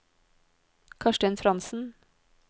Karstein Frantzen